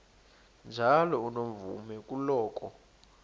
njalo unomvume kuloko